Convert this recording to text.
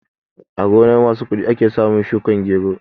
A gonar masu kuɗi ake samun shukar gero